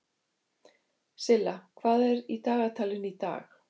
Silla, hvað er í dagatalinu í dag?